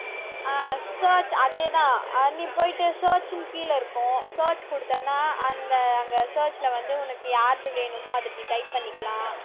அஹ் search அதே தான், அஹ் நீ போயிட்டு search ன்னு கீழே இருக்கும் search கொடுத்தேன்னா அந்த அங்கே search ல வந்து உனக்கு யாருது வேணுமோ அதை இப்படி type பண்ணிக்கலாம்